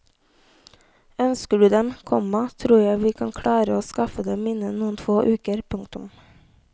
Ønsker du dem, komma tror jeg vi kan klare å skaffe dem innen noen få uker. punktum